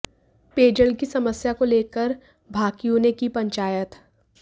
पेयजल की समस्या को लेकर भाकियू ने की पंचायत